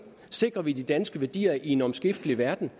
sikrer vi de danske værdier i en omskiftelig verden